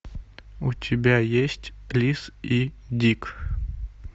у тебя есть лиз и дик